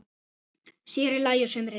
Sér í lagi á sumrin.